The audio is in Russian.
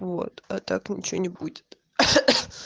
вот а так ничего не будет